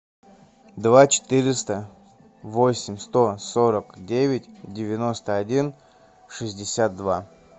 два четыреста восемь сто сорок девять девяносто один шестьдесят два